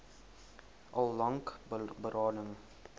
al lank berading